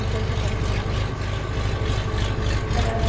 E foi o que apareceu na NET ãh.